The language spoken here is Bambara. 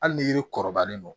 Hali ni yiri kɔrɔbalen don